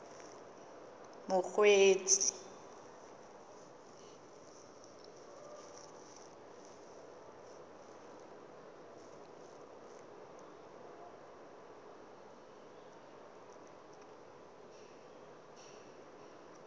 mokgweetsi